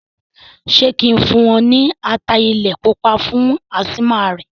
Ṣé kí n fún un ní ata ilẹ̀ pupa fún ásímà rẹ̀?